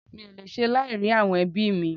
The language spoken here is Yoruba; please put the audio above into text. Mi ò lè ṣe láì rí àwọn ẹbí mí